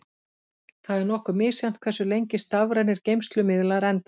Það er nokkuð misjafnt hversu lengi stafrænir geymslumiðlar endast.